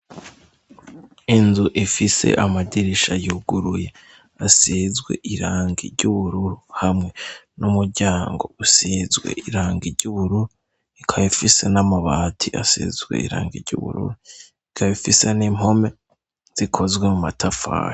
Inzu ifise amadirisha yuguruye asizwe irangi ry'ubururu hamwe n'umuryango usizwe irangi ry'ubururu ikaba ifise n'amabati asizwe irangi ry'ubururu ikaba ifise n'impome zikozwe mu matafari.